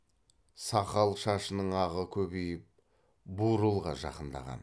сақал шашының ағы көбейіп бурылға жақындаған